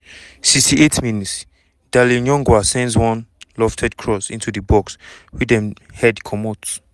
68 mins - darlin yongwa sends one lofted cross into di box wey dem head comot.